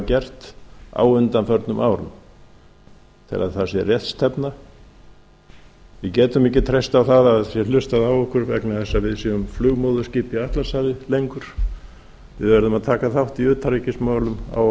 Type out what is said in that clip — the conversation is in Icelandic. gert á undanförnum árum ég tel að það sé rétt stefna við getum ekki treyst á að það sé hlustað á okkur vegna þess að við séum flugmóðurskip í atlantshafi lengur við verðum að taka þátt í utanríkismálum á